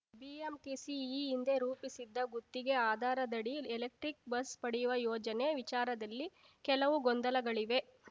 BMTC ಈ ಹಿಂದೆ ರೂಪಿಸಿದ್ದ ಗುತ್ತಿಗೆ ಆಧಾರದಡಿ ಎಲೆಕ್ಟ್ರಿಕ್‌ ಬಸ್‌ ಪಡೆಯುವ ಯೋಜನೆ ವಿಚಾರದಲ್ಲಿ ಕೆಲವು ಗೊಂದಲಗಳಿವೆ